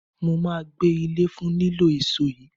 Mo máa gbẹ́ ilẹ̀ fún lílọ́ èso yìí